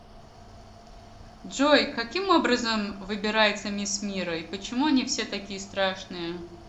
джой каким образом выбирается мисс мира и почему они все такие страшные